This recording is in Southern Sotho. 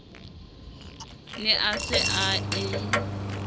ne a se a e